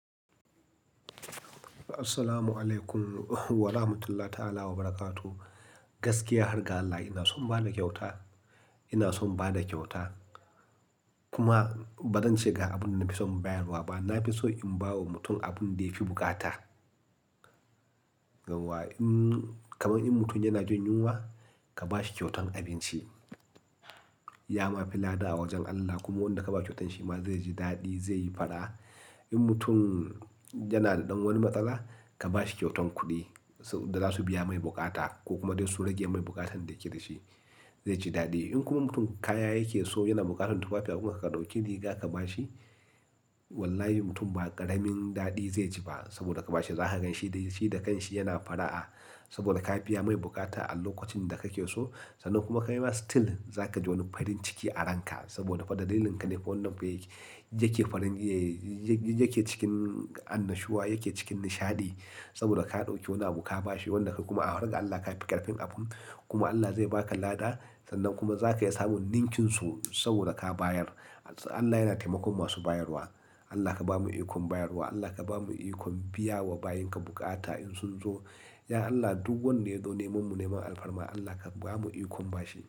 Assalamu alaikum wa rahmatullahi ta'ala wa barakatu. Gaskiya har ga Allah, ina son ba da kyauta, ina son ba da kyauta. Kuma ba zan ce ga abin da na fi son bayarwa ba. Na fi so in ba wa mutum abin da ya fi bukata. Yauwa in-- kamar in mutum yana jin yunwa, ka ba shi kyautan abinci. Ya ma fi lada a wajen Allah. Kuma wanda ka ba kyautar shi ma zai ji daɗi, zai yi fara'a. In mutum yana da ɗan wani matsala, ka ba shi kyautan kuɗi. Su-- da za su biya mai bukata ko kuma dai su rage mai bukatan da yake da shi, zai ji daɗi. In kuma mutum kaya yake so, yana bukatan tufafi abinci, ka ɗauki rigaka ba shi. Wallahi mutum ba ƙaramin daɗi zai ji ba saboda ka ba shi. Za ka gan shi dai shi da kanshi yana fara'a saboda ka biya mai bukata a lokacin da ka ke so. Sannan kuma ka yi masa still, za ka ji wani farin ciki a ranka saboda fa dalilinka ka ne fa wannan fa yake farin ehh yai. Y-y-yake cikin annashuwa, yake cikin nishadi saboda ka ɗauki wani abu ka ba shi wanda ka kuma a haraga Allah ka fi ƙarfin abun. Kuma Allah zai ba ka lada sannan kuma za ka iya samun ninƙinsu saboda ka bayar. Allah yana taimakon masu bayarwa. Allah ka bamu ikonn bayarwa, Allah ka bamu ikon biya wa bayinka bukata in sun zo. Ya Allah, duk wanda ya zo neman mu, neman alfarma Allah ka bamu ikon ba shi.